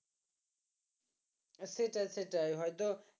সেটাই সেটাই হয়তো